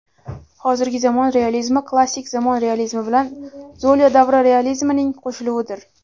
Hozirgi zamon realizmi klassik zamon realizmi bilan Zolya davri realizmining qo‘shiluvidir.